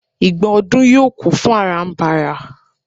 igba odù yíò kún fún arambara